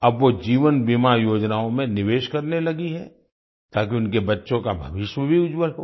अब वो जीवन बीमा योजनाओं में निवेश करने लगी हैं ताकि उनके बच्चों का भविष्य भी उज्जवल हो